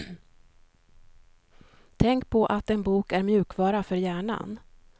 Tänk på att en bok är mjukvara för hjärnan.